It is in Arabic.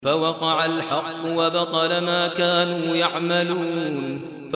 فَوَقَعَ الْحَقُّ وَبَطَلَ مَا كَانُوا يَعْمَلُونَ